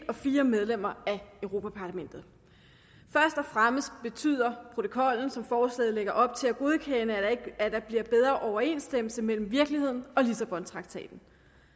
og fire medlemmer af europa parlamentet først og fremmest betyder protokollen som forslaget lægger op til at godkende at der bliver bedre overensstemmelse mellem virkeligheden og lissabontraktaten